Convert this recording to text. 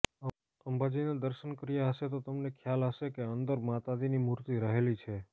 અંબાજીના દર્શન કર્યાં હશે તો તમને ખ્યાલ હશે કે અંદર માતાજીની મૂર્તિ રહેલી છે